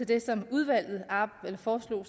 det som udvalget foreslog